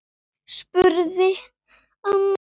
spurði annar.